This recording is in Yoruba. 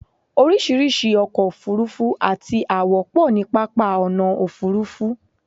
oríṣiríṣi ọkọ̀ òfurufú àti àwọ̀ pọ̀ ní pápá ọ̀nà òfurufú